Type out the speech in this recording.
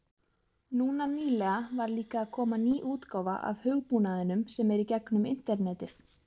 Núna nýlega var líka að koma ný útgáfa af hugbúnaðinum sem er í gegnum internetið.